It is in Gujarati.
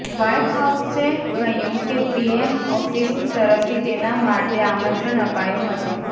વાઈટ હાઉસએ કહ્યું કે પીએમ ઓફીસની તરફથી તેના માટે આમંત્રણ અપાયું હતું